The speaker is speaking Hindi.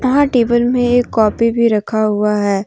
यहाँ टेबल में कॉपी भी रखा हुआ है।